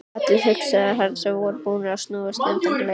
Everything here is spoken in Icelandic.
Allar hugsanir hans voru búnar að snúast um þennan leik.